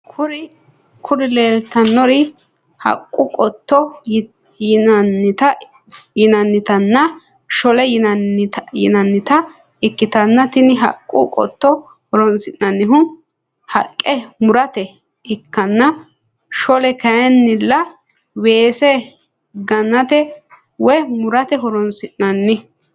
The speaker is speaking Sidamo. Kuri lelitanori haqqu qooto yinanitana sholle yinanita ikitana tini haqqu qooto horronisinannihu haqqe murate ikana sholle kayinila wesse ganate woyi murate horronisinani.